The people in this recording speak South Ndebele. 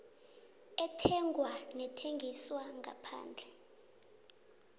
ethengwa nethengiswa ngaphandle